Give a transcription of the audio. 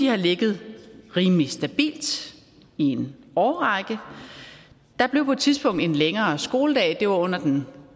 har ligget rimelig stabilt i en årrække der blev på et tidspunkt en længere skoledag det var under den